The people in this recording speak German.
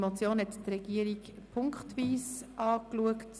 Die Regierung hat die Motion punktweise geprüft.